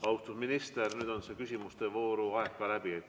Austatud minister, nüüd on küsimuste vooru aeg ka läbi.